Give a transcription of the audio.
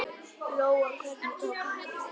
Lóa: Hvernig tók hann því?